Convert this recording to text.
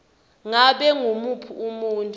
ngabe ngumuphi umuntfu